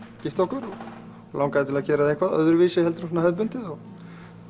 gifta okkur og langaði til að gera eitthvað öðruvísi en þetta hefðbundna og